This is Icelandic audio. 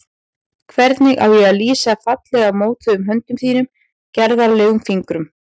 Hvernig á ég að lýsa fallega mótuðum höndum þínum, gerðarlegum fingrum?